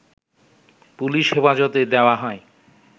police হেফাজতে দেয়া হয়